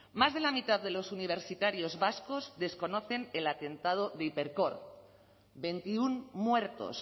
más de la mitad de los universitarios vascos desconocen el atentado de hipercor veintiuno muertos